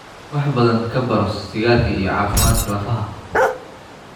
Wax badan ka baro sigaarka iyo caafimaadka lafaha.